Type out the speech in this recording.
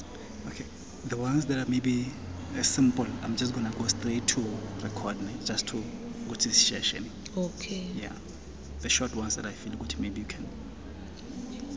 ibekwe emlonyeni wosana